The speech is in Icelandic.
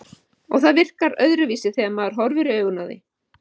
Og það virkar öðruvísi þegar maður horfir í augun á því.